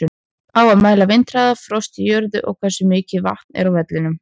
Á að mæla vindhraða, frost í jörðu eða hversu mikið vatn er á vellinum?